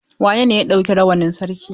Wanene ya ɗauki rawanin sarki?